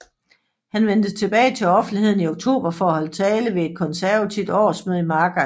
Han vendte tilbage til offentligheden i oktober for at holde tale ved et konservativt årsmøde i Margate